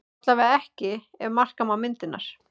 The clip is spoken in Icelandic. Allavega ekki ef marka má myndirnar